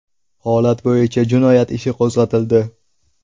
Holat bo‘yicha jinoyat ishi qo‘zg‘atildi.